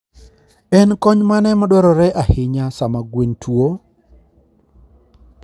En kony mane madwarore ahinya sama gwen tuwo?